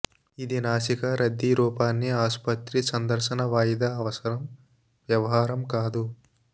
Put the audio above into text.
ఇది నాసికా రద్దీ రూపాన్ని ఆసుపత్రి సందర్శన వాయిదా అవసరం వ్యవహారం కాదు